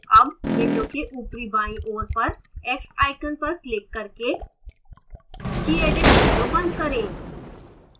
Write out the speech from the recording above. अब window के ऊपरी बाईं ओर पर x icon पर क्लिक करके gedit window बंद करें